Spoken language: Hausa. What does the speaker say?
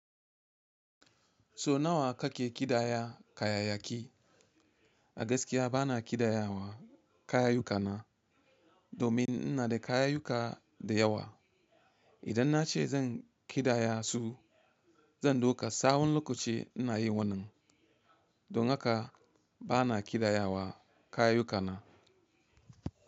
So nawa kake ƙidaya kayayaki? A gaskiya bana ƙidayawa kayayyukana domin ina da kayayuka da yawa. Idan na ce zan ƙidaya su, zan duka tsawon lokaci ina yi wannan. Don haka bana ƙidayawa kayayyukana.